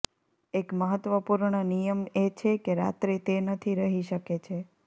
એક મહત્વપૂર્ણ નિયમ એ છે કે રાત્રે તે નથી રહી શકે છે